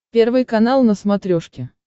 первый канал на смотрешке